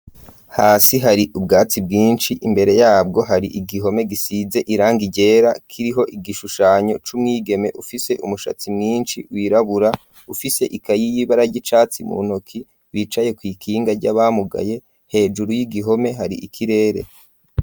Hasi hari ubwatsi bwinshi imbere yabwo hari igihome gisize irangi ryera kiriho igishushanyo c'umwigeme afise umushatsi mwinshi wirabura, ufise ikayi y'ibara ry'icatsi mu ntoke yicaye kw'ikinga ry'abamugaye hejuru y'igihome hari ikirere.